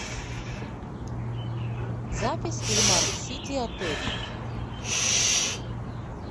запись ильмар сити отель